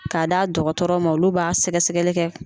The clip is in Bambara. K'a d'a dɔgɔtɔrɔ ma olu b'a sɛgɛ sɛgɛli kɛ.